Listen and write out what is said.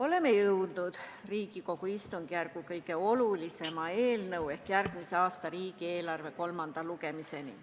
Oleme jõudnud Riigikogu istungjärgu kõige olulisema eelnõu ehk järgmise aasta riigieelarve seaduse eelnõu kolmanda lugemiseni.